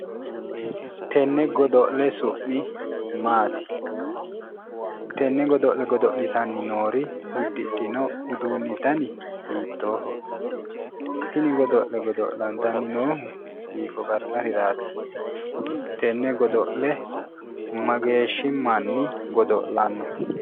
Tenne godo'le su'mi maati tenne godo'le goddo'litanni noori uddidhino uduunni dani hiittoho tini godo'le godo'lantanni noohu hiikko qarqariraati tenne godo'le mageeshshi manni godo'lanno